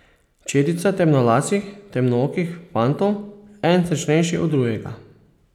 Četica temnolasih, temnookih fantov, eden srečnejši od drugega.